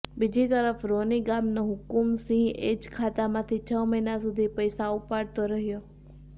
બીજી તરફ રોની ગામનો હુકુમ સિંહ એજ ખાતામાંથી છ મહિના સુધી પૈસા ઉપાડતો રહ્યો